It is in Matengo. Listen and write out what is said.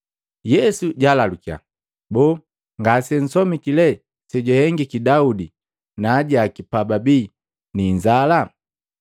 Yesu jaalalukiya, “Boo, ngasensomiki lee sejwahengiki Daudi na ajaki pababii ni inzala?